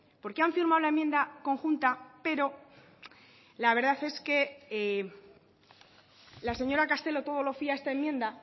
porque han firmado la enmienda conjunta pero la verdad es que la señora castelo todo lo fía a esta enmienda